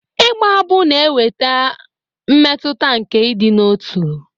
Ịgba abụ na-eweta mmetụta nke ịdị n'otu.